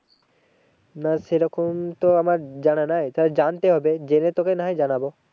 না সেরকম তো আমার জানা নেই তাহলে জানতে হবে। জেনে না হয় তোকে জানাবো।